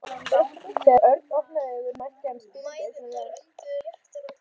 Þegar Örn opnaði augun mætti hann spyrjandi augnaráði foreldra sinna.